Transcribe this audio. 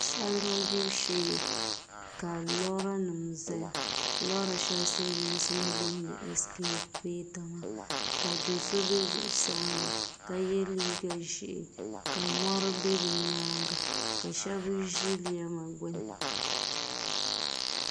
Salima gbibu shee ka loori nim ʒɛya loori shɛli silmiinsi ni booni ɛskavɛta maa ka do so bɛ zuɣusaa maa ka yɛ liiga ʒiɛ ka mori bɛ bi nyaanga ka shab ʒi lɛma gbuni